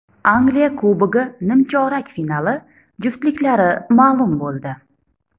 Angliya Kubogi nimchorak finali juftliklari ma’lum bo‘ldi .